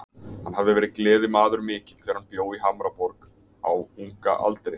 Hann hafði verið gleðimaður mikill þegar hann bjó í Hamborg á unga aldri.